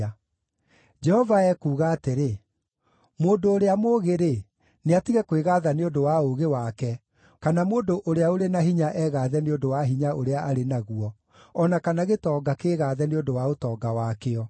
Jehova ekuuga atĩrĩ: “Mũndũ ũrĩa mũũgĩ-rĩ, nĩatige kwĩgaatha nĩ ũndũ wa ũũgĩ wake, kana mũndũ ũrĩa ũrĩ na hinya egaathe nĩ ũndũ wa hinya ũrĩa arĩ naguo, o na kana gĩtonga kĩĩgathe nĩ ũndũ wa ũtonga wakĩo,